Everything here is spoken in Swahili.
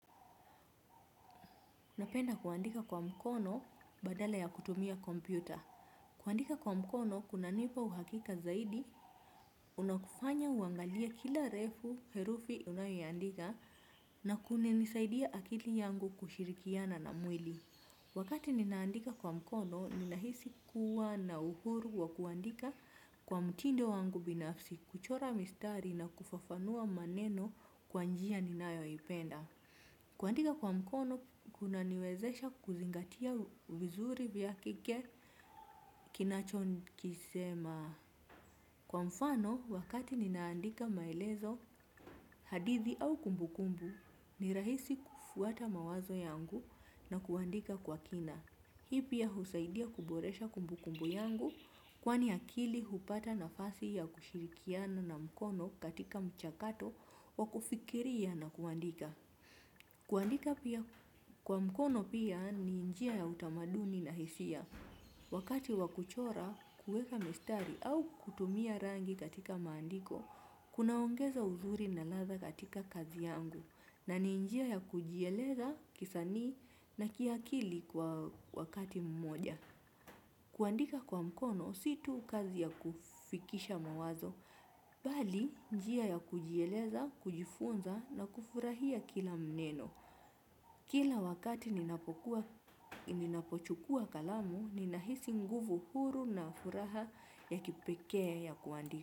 Unapenda kuandika kwa mkono badala ya kutumia kompyuta. Kuandika kwa mkono, kunanipa uhakika zaidi, unakufanya uangalie kila refu, herufi unayoandika, na kunanisaidia akili yangu kushirikiana na mwili. Wakati ninaandika kwa mkono, ninahisi kuwa na uhuru wa kuandika kwa mtindo wangu binafsi, kuchora mistari na kufafanua maneno kwa njia ninayoipenda. Kuandika kwa mkono, kuna niwezesha kuzingatia vizuri bila kike kinacho kisema. Kwa mfano, wakati ninaandika maelezo hadithi au kumbukumbu, ni rahisi kufuata mawazo yangu na kuandika kwa kina. Hii pia husaidia kuboresha kumbukumbu yangu, kwani akili hupata nafasi ya kushirikiana na mkono katika mchakato wa kufikiria na kuandika. Kuandika pia kwa mkono pia ni njia ya utamaduni na hisia. Wakati wakuchora kuweka mistari au kutumia rangi katika maandiko kunaongeza uzuri na ladha katika kazi yangu. Na ni njia ya kujieleza kisanii na kiakili kwa wakati mmoja. Kuandika kwa mkono situ kazi ya kufikisha mawazo bali njia ya kujieleza, kujifunza na kufurahia kila neno kila wakati ninapochukua kalamu ninahisi nguvu huru na furaha ya kipekee ya kuandika.